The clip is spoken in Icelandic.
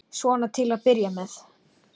Svona til að byrja með.